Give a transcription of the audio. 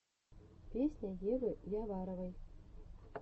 песня евы яваровой